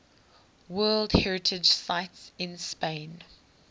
world heritage sites in spain